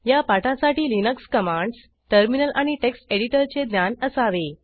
या पाठासाठी Linux commands terminal आणि टेक्स्ट एडिटरचे ज्ञान असावे